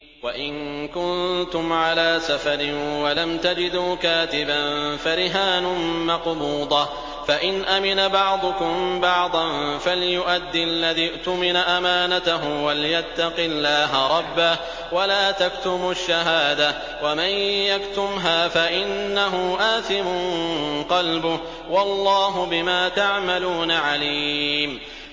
۞ وَإِن كُنتُمْ عَلَىٰ سَفَرٍ وَلَمْ تَجِدُوا كَاتِبًا فَرِهَانٌ مَّقْبُوضَةٌ ۖ فَإِنْ أَمِنَ بَعْضُكُم بَعْضًا فَلْيُؤَدِّ الَّذِي اؤْتُمِنَ أَمَانَتَهُ وَلْيَتَّقِ اللَّهَ رَبَّهُ ۗ وَلَا تَكْتُمُوا الشَّهَادَةَ ۚ وَمَن يَكْتُمْهَا فَإِنَّهُ آثِمٌ قَلْبُهُ ۗ وَاللَّهُ بِمَا تَعْمَلُونَ عَلِيمٌ